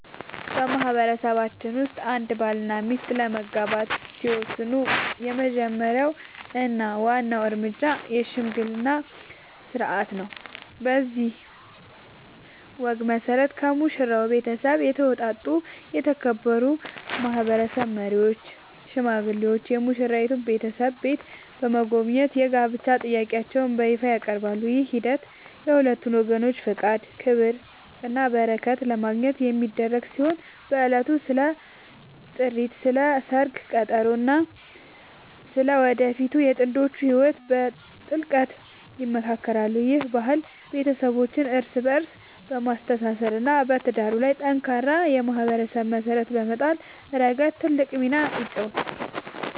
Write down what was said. በማህበረሰባችን ውስጥ አንድ ባልና ሚስት ለመጋባት ሲወስኑ የመጀመሪያው እና ዋናው እርምጃ **የሽምግልና ሥርዓት** ነው። በዚህ ወግ መሠረት፣ ከሙሽራው ቤተሰብ የተውጣጡ የተከበሩ ማህበረሰብ መሪዎች ወይም ሽማግሌዎች የሙሽራይቱን ቤተሰብ ቤት በመጎብኘት የጋብቻ ጥያቄያቸውን በይፋ ያቀርባሉ። ይህ ሂደት የሁለቱን ወገኖች ፈቃድ፣ ክብርና በረከት ለማግኘት የሚደረግ ሲሆን፣ በዕለቱም ስለ ጥሪት፣ ስለ ሰርግ ቀጠሮ እና ስለ ወደፊቱ የጥንዶቹ ህይወት በጥልቀት ይመካከራሉ። ይህ ባህል ቤተሰቦችን እርስ በእርስ በማስተሳሰር እና በትዳሩ ላይ ጠንካራ የማህበረሰብ መሰረት በመጣል ረገድ ትልቅ ሚና ይጫወታል።